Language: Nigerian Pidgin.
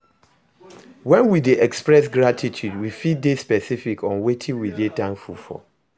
When we dey express gratitude we fit de specific on wetin we de thankful for